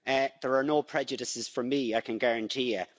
There are no prejudices from me, I can guarantee you.